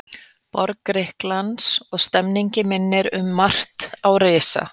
borg Grikklands, og stemmningin minnir um margt á risa